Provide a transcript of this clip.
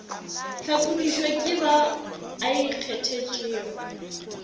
hlakodišwe ke ba a ikgethetšego